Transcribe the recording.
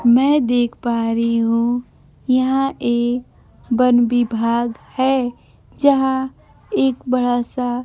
मैं देख पा रही हूं यहां एक वन विभाग है जहां एक बड़ा सा--